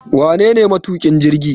Wanene matukin jirgi?